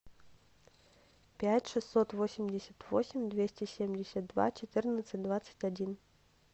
пять шестьсот восемьдесят восемь двести семьдесят два четырнадцать двадцать один